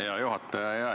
Hea juhataja!